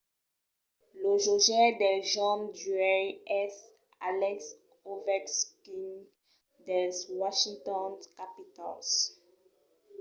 lo jogaire del jorn d’uèi es alex ovechkin dels washington capitals